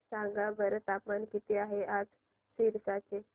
सांगा बरं तापमान किती आहे आज सिरसा चे